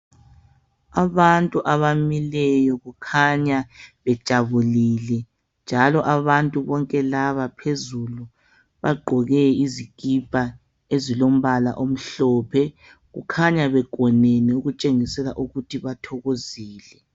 Abantu abamileyo kukhanya bejabulile njalo abantu bonke laba phezulu bagqoke izikipa ezilombala omhlophe. Kukhanya begonene okutshengisela ukuthi bathokozile.